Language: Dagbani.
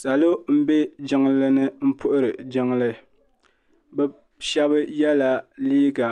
Salo n bɛ jiŋli ni n puhiri jiŋli bi shɛba yɛla liiga